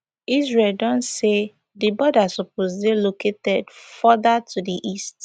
israel don say di border suppose dey located further to di east